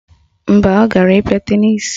Mba, ọ gara ịkpịa tenisi